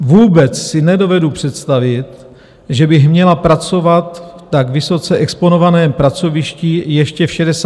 Vůbec si nedovedu představit, že bych měla pracovat na tak vysoce exponovaném pracovišti ještě v 68 letech.